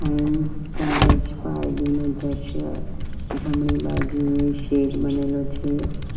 Vim college પારડીનું દ્રશ્ય જમણી બાજુએ શેડ બનેલો છે.